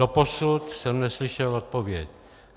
Doposud jsem neslyšel odpověď.